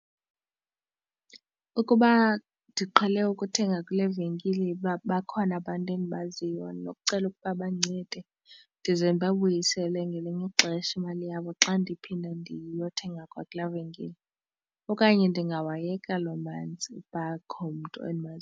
Ukuba ndiqhele ukuthenga kule venkile uba bakhona abantu endibaziyo nokucela ukuba bandincede ndize ndibabuyisele ngelinye ixesha imali yabo xa ndiphinda ndiyothenga kwakula venkile, okanye ndingwayeka loo manzi uba ukho umntu endimaziyo.